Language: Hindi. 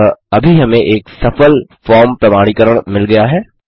अतः अभी हमें एक सफल फॉर्म प्रमाणीकरण मिल गया है